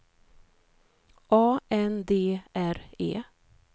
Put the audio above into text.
A N D R É